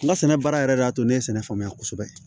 N ka sɛnɛ baara yɛrɛ y'a to ne ye sɛnɛ faamuya kosɛbɛ